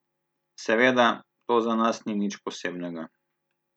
Seveda, to za nas ni nič posebnega.